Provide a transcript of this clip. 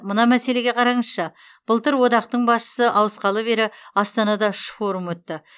мына мәселеге қараңызшы былтыр одақтың басшысы ауысқалы бері астанада үш форум өтті